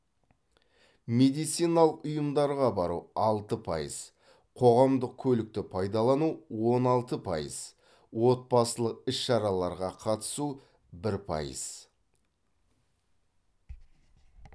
медициналық ұйымдарға бару алты пайыз қоғамдық көлікті пайдалану он алты пайыз отбасылық іс шараларға қатысу бір пайыз